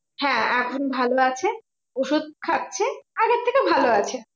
হ্যাঁ এখন ভালো আছে ওষুধ খাচ্ছে। আগের থেকে ভালো আছে।